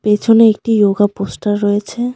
পিছনে একটি yoga poster রয়েছে।